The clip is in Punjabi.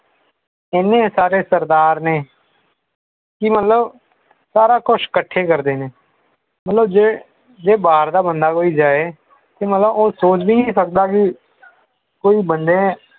ਇੰਨੇ ਸਾਰੇ ਸਰਦਾਰ ਨੇ ਕਿ ਮਤਲਬ ਸਾਰਾ ਕੁਝ ਇਕੱਠੇ ਕਰਦੇ ਨੇ ਮਤਲਬ ਜੇ ਜੇ ਬਾਹਰ ਦਾ ਬੰਦਾ ਕੋਈ ਜਾਏ ਕੀ ਮਤਲਬ ਉਹ ਸੋਚ ਵੀ ਨਹੀਂ ਸਕਦਾ ਕਿ ਕੋਈ ਬੰਦੈ